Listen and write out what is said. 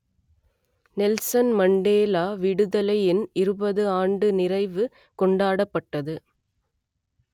Nelson Mandela விடுதலையின் இருபது ஆண்டு நிறைவு கொண்டாடப்பட்டது